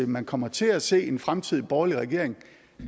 man kommer til at se en fremtidig borgerlig regering